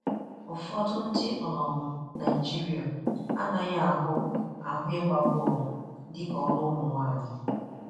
Ụfọdụ ndị um Naịjirịa anaghị ahụ ahụ ịgba bọọlụ dịka ọrụ ụmụnwaanyị.